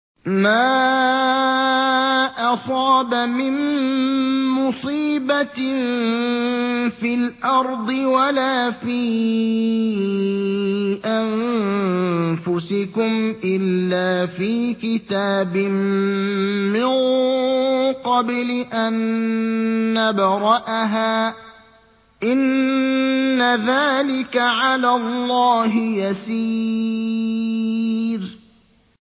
مَا أَصَابَ مِن مُّصِيبَةٍ فِي الْأَرْضِ وَلَا فِي أَنفُسِكُمْ إِلَّا فِي كِتَابٍ مِّن قَبْلِ أَن نَّبْرَأَهَا ۚ إِنَّ ذَٰلِكَ عَلَى اللَّهِ يَسِيرٌ